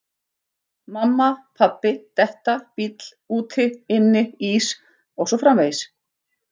Mamma, pabbi, detta, bíll, úti, inni, ís og svo framvegis